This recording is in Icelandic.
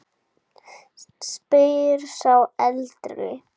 spyr sá eldri.